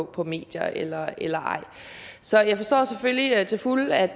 på medier eller eller ej så jeg forstår selvfølgelig til fulde at